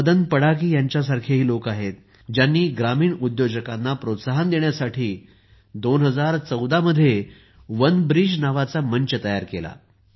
आपल्याकडे मदन पडाकी यांच्यासारखेही लोक आहेत ज्यांनी ग्रामीण उद्योजकांना प्रोत्साहन देण्यासाठी 2014 साली वनब्रिज नावाचा मंच तयार केला